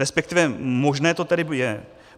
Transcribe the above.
Respektive možné to tedy je.